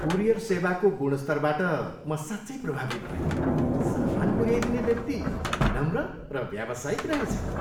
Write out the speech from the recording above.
Courier सेवाको गुणस्तरबाट म साँच्चै प्रभावित भएँ। सामान पुऱ्याइदिने व्यक्ति विनम्र र व्यावसायिक रहेछन्।